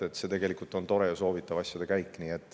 See tegelikult on tore ja soovitav asjade käik.